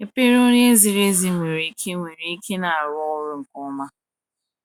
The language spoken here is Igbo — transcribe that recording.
"Ekpere onye ziri ezi nwere ike nwere ike na arụ ọrụ nke ọma."